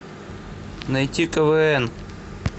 найти квн